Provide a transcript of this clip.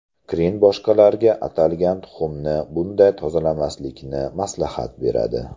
Krin boshqalarga atalgan tuxumni bunday tozalamaslikni maslahat beradi.